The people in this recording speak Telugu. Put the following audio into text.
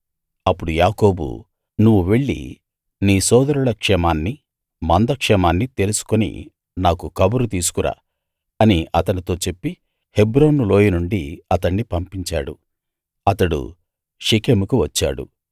అప్పుడు యాకోబు నువ్వు వెళ్ళి నీ సోదరుల క్షేమాన్ని మంద క్షేమాన్ని తెలుసుకుని నాకు కబురు తీసుకురా అని అతనితో చెప్పి హెబ్రోను లోయ నుండి అతణ్ణి పంపించాడు అతడు షెకెముకు వచ్చాడు